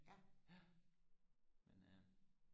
ja men øh